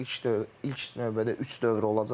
İlk, ilk növbədə üç dövr olacaq.